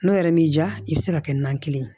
N'o yɛrɛ m'i diya i bɛ se ka kɛ nan kelen ye